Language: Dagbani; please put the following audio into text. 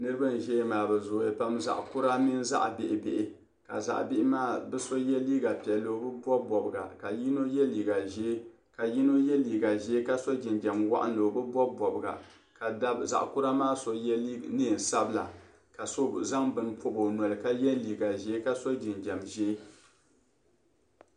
Niriba n zaya ŋɔ maa bɛ zooya pam zaɣa kura mini zaɣa bihibihi ka zaɣa bihi maa bɛ so ye liiga piɛlli o bi bobi bobga ka yino ye liiga ʒee ka so jinjɛm waɣinli o bi bobi bobga ka zaɣa kura maa so ye neensabla ka so zaŋ bini pobi o noli ka ye liiga ʒee ka so jinjɛm ʒee.